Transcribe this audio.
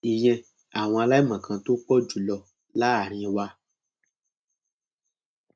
ìyẹn àwọn aláìmọkan tó pọ jù lọ láàrin wa